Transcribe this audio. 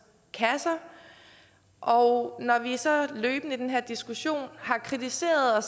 kasser og når vi så løbende i den her diskussion har kritiseret og